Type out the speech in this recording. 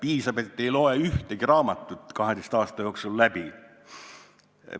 Eksami läbimiseks ei pea 12 aasta jooksul olema ühtegi raamatut läbi lugenud.